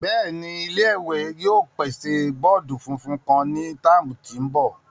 Bẹẹni, ile-iwe yoo pese bọọdu funfun kan ni tạmu tin bo.